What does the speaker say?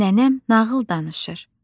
nənəm nağıl danışır.